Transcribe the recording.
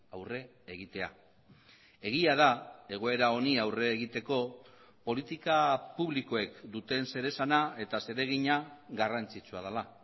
aurre egitea egia da egoera honi aurre egiteko politika publikoek duten zeresana eta zeregina garrantzitsua dela